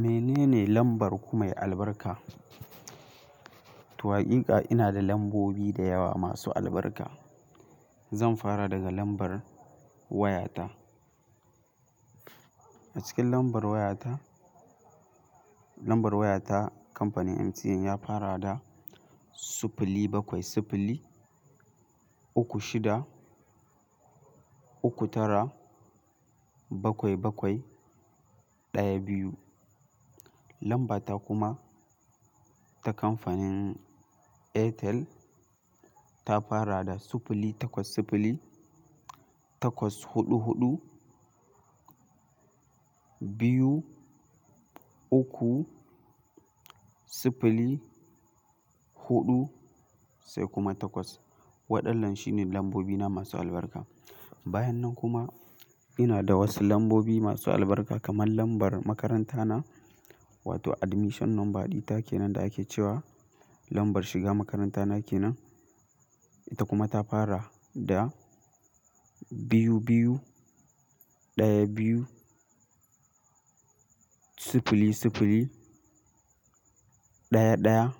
Menene lambar ku mai albarka? To haƙiƙa ina da lambobi da yawa masu albarka. Zan fara daga lambar wayata. A cikin lambar wayata, lambar wayata kamfanin MTN ya fara da siffili bakwai siffili uku shida uku tara bakwai bakwai ɗaya biyu. Lambata kuma ta kamfanin Airtel ta fara da siffili takwas siffili takwas huɗu huɗu biyu uku siffili huɗu sai kuma takwas. Waɗannan shine lambobina masu albarka. Bayan nan kuma ina da wasu lambobi masu albarka kamar lambar makaranta na wato admission number ɗita kenan da ake cewa lambar shiga makaranta nake nan. Ita kuma ta fara da biyu biyu ɗaya biyu siffili siffili ɗaya ɗaya